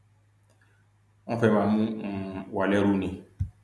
wọn fẹẹ má mú um wa lẹrú ni